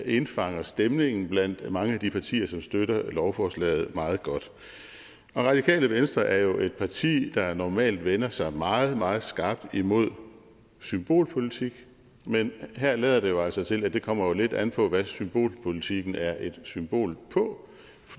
indfanger stemningen blandt mange af de partier som støtter lovforslaget meget godt radikale venstre er jo et parti der normalt vender sig meget meget skarpt imod symbolpolitik men her lader det jo altså til at det kommer lidt an på hvad symbolpolitikken er et symbol på